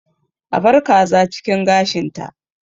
A bar kaza cikin gashinta